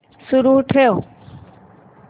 सुरू ठेव